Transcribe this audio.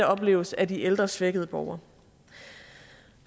opleves af de ældre svækkede borgere